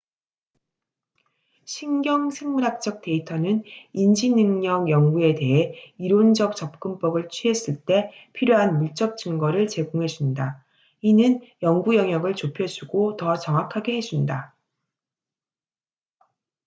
신경 생물학적 데이터는 인지 능력 연구에 대해 이론적 접근법을 취했을 때 필요한 물적 증거를 제공해 준다 이는 연구영역을 좁혀주고 더 정확하게 해준다